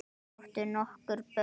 Þau áttu nokkur börn.